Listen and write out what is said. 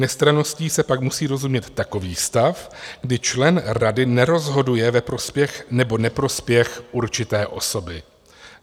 Nestranností se pak musí rozumět takový stav, kdy člen rady nerozhoduje ve prospěch nebo neprospěch určité osoby.